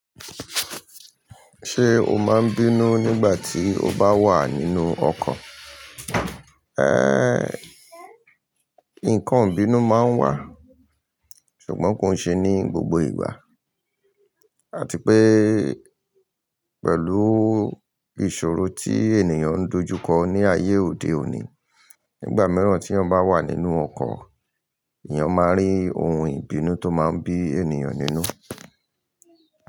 Ṣé o máa ń bínú nígbà tí o bá wà nínú ọkọ̀? Ẹ́, nǹkan ìbínú máa ń wà, ṣùgbọ́n kò ń ṣe ní gbogbo ìgbà. Àti pé pẹ̀lú ìṣòro tí ènìyàn ń dojú kọ ní ayé òde òní, nígbà mìíràn tí ènìyàn bá wà nínú ọkọ̀, ènìyàn máa rí ohun ìbínú tó máa ń bí ènìyàn nínú.